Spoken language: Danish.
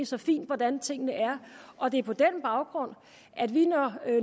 så fint hvordan tingene er og det er på den baggrund at vi